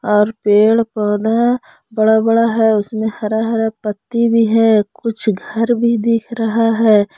और पेड़ पौधा बड़ा बड़ा है उसमें हरा हरा पत्ती भी है कुछ घर भी दिख रहा है।